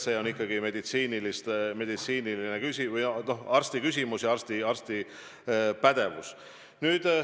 See on ikkagi meditsiiniline küsimus, arsti küsimus ja arsti pädevus.